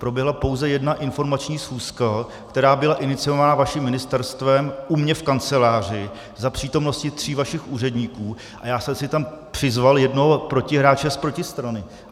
Proběhla pouze jedna informační schůzka, která byla iniciována vaším ministerstvem u mě v kanceláři za přítomnosti tří vašich úředníků, a já jsem si tam přizval jednoho protihráče z protistrany.